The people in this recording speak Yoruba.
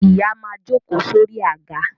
Ìyá máa jókòó sórí àga